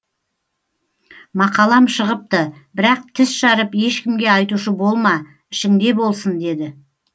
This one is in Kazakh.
мақалам шығыпты бірақ тіс жарып ешкімге айтушы болма ішіңде болсын деді